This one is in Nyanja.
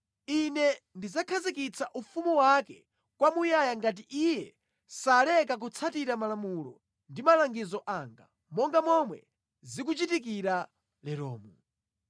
Ine ndidzakhazikitsa ufumu wake kwamuyaya ngati iye saleka kutsatira malamulo ndi malangizo anga, monga momwe zikuchitikira leromu.”